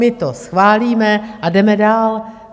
My to schválíme a jdeme dál.